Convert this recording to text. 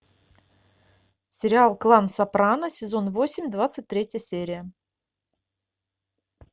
сериал клан сопрано сезон восемь двадцать третья серия